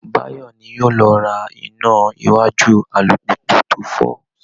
Báyọ̀ ni yóò lọ ra iná iwájú alùpùpù tó fọ́